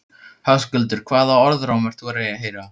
Höskuldur: Hvaða orðróm ert þú að heyra?